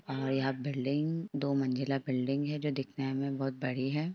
और यहा बिल्डिंग दो मंजिला बिल्डिंग है जो दिखने में बहुत बड़ी है।